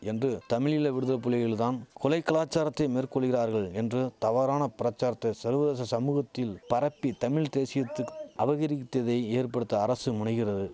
என்று தமிழீழ விடுதலைபுலிகள் தான் கொலை கலாச்சாரத்தை மேற்கொள்கிறார்கள் என்று தவறான பிரச்சாரத்தை சர்வதேச சமூகத்தில் பரப்பி தமிழ் தேசியத்துக்கு அபகரித்ததை ஏற்படுத்த அரசு முனைகிறது